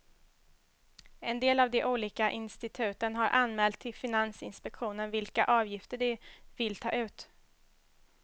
En del av de olika instituten har anmält till finansinspektionen vilka avgifter de vill ta ut.